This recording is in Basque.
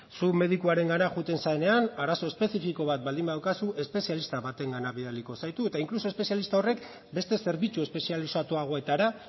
zu medikoarengana joaten zarenean arazo espezifiko bat baldin badaukazu espezialista batengana bidaliko zaitu eta inkluso espezialista horrek beste zerbitzu espezializatuagoetara